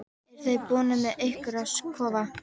Eruð þið búnir með ykkar kofa?